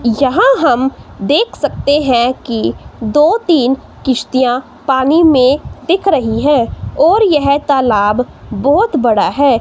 यहां हम देख सकते हैं कि दो तीन किश्तियां पानी में दिख रही है और यह तालाब बहोत बड़ा है।